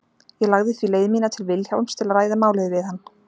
Ég lagði því leið mína til Vilhjálms til að ræða málið við hann.